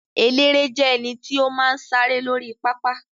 Eléré jẹ́ ẹnití ó máa ń sáré lórí pápá